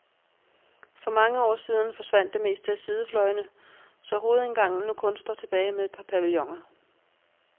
For mange år siden forsvandt det meste af sidefløjene, så hovedindgangen nu kun står tilbage med et par pavilloner.